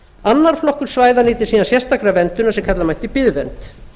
annar flokkur svæða nyti síðan sérstakrar verndunar sem kalla mætti biðvernd